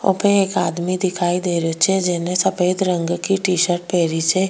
वहां पे एक आदमी दिखाई दे रियो छे जेने सफ़ेद रंग की टी शर्ट पहनी छे।